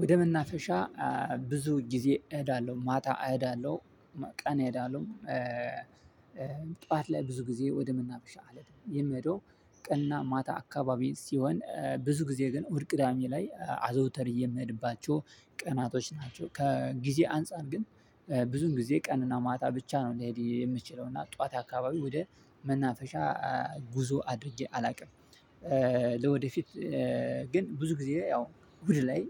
ወደ መናፈሻ ብዙ ጊዜ እሄዳለሁ ማታ እሄዳለሁ ቀን እሄዳለሁ። ላይ ብዙ ጊዜ ወደ መናፈሻ የሚሄደው ቀና እና ማታ አካባቢ ሲሆን ብዙ ጊዜ ግን እሁድ ቅዳሜ ላይ አዘውተሬ የምሄድባቸው ቀናቶች ናቸው። ከጊዜ አንፃር ግን ብዙን ጊዜ ቀንና ማታ ብቻ ነው ሊሄድ የሚችለው እና ጠዋት አካባቢ ወደ መናፈሻ ጉዞ አድርጌ አላውቅም። ለወደፊት ግን ብዙ ጊዜ ያው እሁድ ላይ